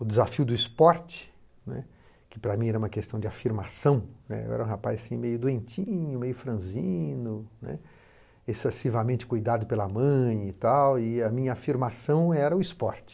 O desafio do esporte, né, que para mim era uma questão de afirmação, né, eu era um rapaz meio doentinho, meio franzino, né, excessivamente cuidado pela mãe e tal, e a minha afirmação era o esporte.